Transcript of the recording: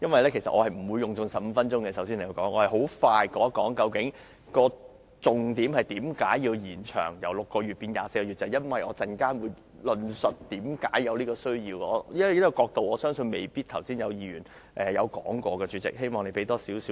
首先，我不會用盡15分鐘的發言時間，我會快速講述重點，即為何要把檢控期限由6個月延長至24個月，我稍後便會論述為何有此需要，而我相信剛才未必有議員從這角度發言。